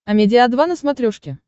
амедиа два на смотрешке